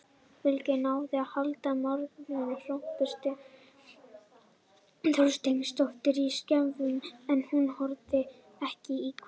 Fylkir náði að halda markadrottningunni Hörpu Þorsteinsdóttur í skefjum en hún skoraði ekki í kvöld.